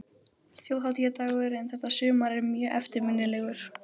Það er satt, þú þessi langintes!